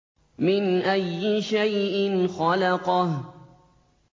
مِنْ أَيِّ شَيْءٍ خَلَقَهُ